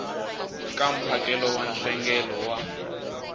ka mphakelo wa nhlengelo wa